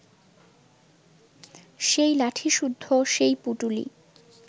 সেই লাঠিসুদ্ধ সেই পুঁটুলি